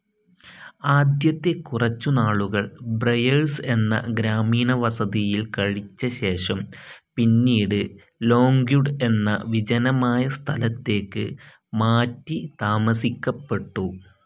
ആദ്യത്തെ കുറച്ചു നാളുകൾ ബ്രയർസ്‌ എന്ന ഗ്രാമീണവസതിയിൽ കഴിച്ചശേഷം പിന്നീട് ലോംഗ്വുഡ് എന്ന വിജനമായ സ്ഥലത്തേക്ക് മാറ്റി താമസിക്കപ്പെട്ടു.